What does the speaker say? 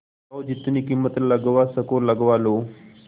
जाओ जितनी कीमत लगवा सको लगवा लो